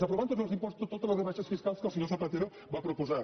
aprovant tots els impostos totes les rebaixes fiscals que el senyor zapatero va proposar